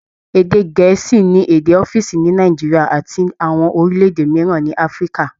Ede gẹ̀ẹ́sì ni èdè ọ́fíìsì ní Nigeria àti àwọn orílẹ̀-èdè mìíràn ní Africa